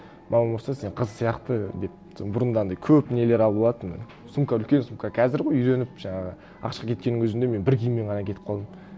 мамам ұрысады сен қыз сияқты деп бұрында анандай көп нелер алып алатынмын сумка үлкен сумка қазір ғой үйреніп жаңағы ақш қа кеткеннің өзінде мен бір киіммен ғана кетіп қалдым